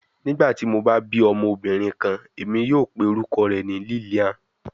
Nigbati mo ba bi ọmọbirin kan, Emi yoo pe orukọ rẹ ni Lilian